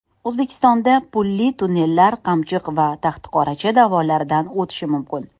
O‘zbekistonda pulli tunnellar Qamchiq va Taxtaqoracha dovonlaridan o‘tishi mumkin.